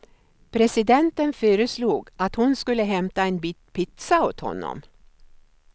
Presidenten föreslog att hon skulle hämta en bit pizza åt honom.